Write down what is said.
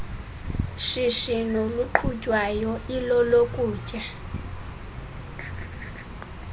shishino luqhutywayo ilolokutya